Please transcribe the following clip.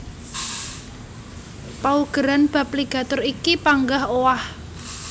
Paugeran bab ligatur iki panggah owah